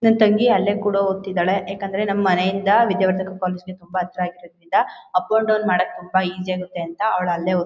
ನನ್ ತಂಗಿ ಅಲ್ಲೇ ಕೂಡ ಓದ್ತಾ ಇದಾಳೆ ಯಾಕಂದ್ರೆ ನಮ್ ಮನೆ ಇಂದ ವಿದ್ಯಾವರ್ಧಕ ಕಾಲೇಜು ಗೆ ತುಂಬಾ ಹತ್ರ ಇರೋದ್ರಿಂದ ಅಪ್ ಅಂಡ್ ಡೌನ್ ಮಾಡಕ್ಕೆ ತುಂಬಾ ಈಜಿ ಆಗತ್ತೆ ಅಂತ ಅವಳ್ ಅಲ್ಲೇ ಓದ್ತಿದ್ದಾಳೆ